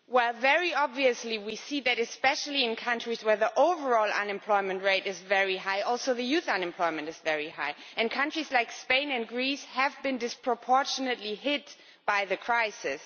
Well, very obviously we see that in countries where the overall unemployment rate is very high, youth unemployment is also very high, and countries like Spain and Greece have been disproportionately hit by the crisis.